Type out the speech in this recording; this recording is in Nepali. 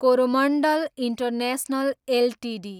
Coromandel international Ltd